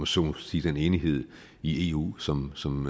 så må sige den enighed i eu som som